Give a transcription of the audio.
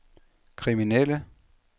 kriminelle